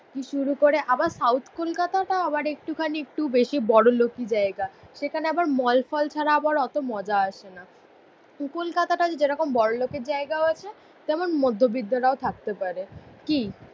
দিয়ে শুরু করে আবার সাউথ কোলকাতাটা আবার একটুখানি একটু বেশি বড়লোকি জায়গা, সেখানে আবার মল ফল ছাড়া আবার অত মজা আসেনা। কোলকাতাতে যেমন বড়োলোকের জায়গাও আছে তেমন মধ্যবৃত্তরাও থাকতে পারে, কি